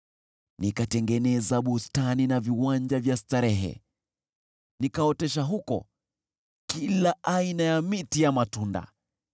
Nikatengeneza bustani na viwanja vya starehe nikaotesha huko kila aina ya miti ya matunda.